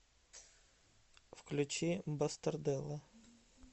включи бастарделла